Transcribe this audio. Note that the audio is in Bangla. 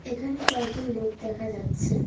এখানে কয়েকজন লোক দেখা যাচ্ছে।